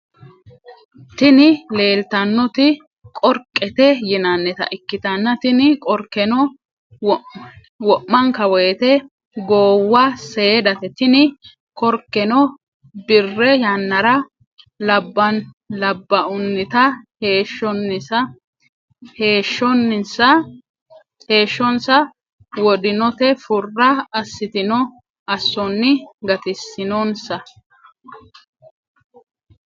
Tini lelitanoti qoriqqete yinanita ikitana tini korikeno womanikawoyite gowwa seedate tini korikeno birre yanara labaunita heshshonisa wodinote fura asitino asoni gatisinonisa.